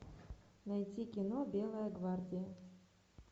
найти кино белая гвардия